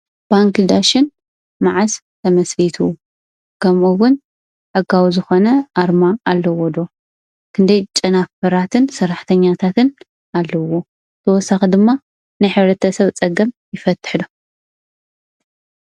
ባንኪ ዳሽን ማዓስ ተመስሪቱ ከምኡ'ውን ሕጋዊ ዝኮነ ኣርማ ኣለዎ'ዶ ክንደይ ጨናፍራትን ሰራሕተኛታትን ኣለዎ ? ተወሳኪ ድማ ናይ ሕብረተሰብ ፀገም ይፈትሕ ዶ?